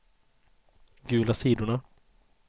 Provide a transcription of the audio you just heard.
gula sidorna